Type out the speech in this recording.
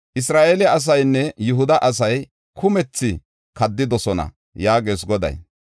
Isra7eele asaynne Yihuda asay kumethi kaddidosona” yaagees Goday.